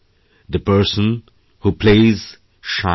the person who place shines